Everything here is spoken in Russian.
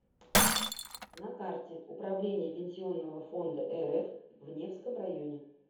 на карте управление пенсионного фонда рф в невском районе